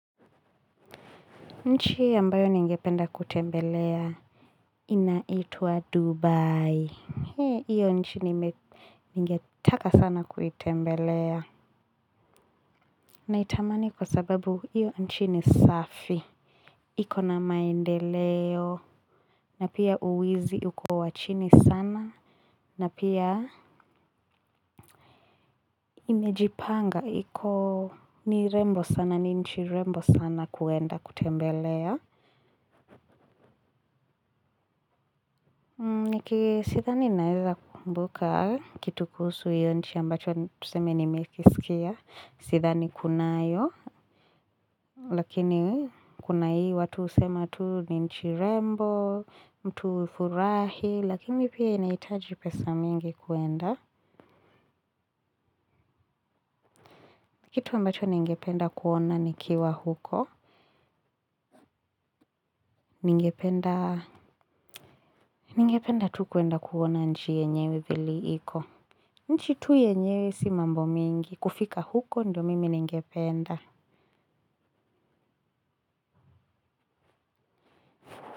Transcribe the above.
Nchi ambayo ningependa kutembelea inaitwa Dubai. Hiyo nchi ningetaka sana kuitembelea. Naitamani kwa sababu hiyo nchi ni safi. Iko na maendeleo, na pia wizi uko wa chini sana, na pia imejipanga. Iko ni rembo sana, ni nchi rembo sana kwenda kutembelea. Sidhani naweza kumbuka kitu kuhusu hiyo nchi ambacho tuseme nimekisikia sidhani kunayo. Lakini kuna hii watu husema tu ni nchi rembo, mtu hufurahi lakini pia inahitaji pesa mingi kwenda. Kitu ambacho ningependa kuona nikiwa huko. Ningependa tu kwenda kuona nchi yenyewe vile iko nchi tu yenyewe si mambo mengi kufika huko ndio mimi ningependa.